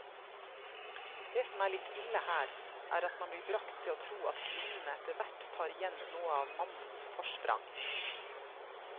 Det som er litt ille her, er at man blir bragt til å tro at kvinnene etterhvert tar igjen noe av mannens forsprang.